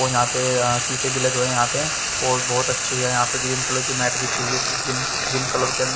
और यहां पे अं शीशे भी लगे हुए हैं यहां पे और बहुत अच्छी अं यहां पे ग्रीन कलर की मैट बिछी हुई है इस जिम जिम क्लब के अं --